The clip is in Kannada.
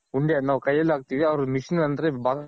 ಉಂಡೆ ನಾವ್ ಕೈಯಲ್ಲಿ ಹಾಕ್ತಿವಿ ಅವ್ರ್ machine ಅಂದ್ರೆ